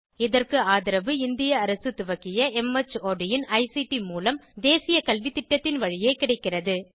இதற்கு ஆதரவு இந்திய அரசு துவக்கிய மார்ட் இன் ஐசிடி மூலம் தேசிய கல்வித்திட்டத்தின் வழியே கிடைக்கிறது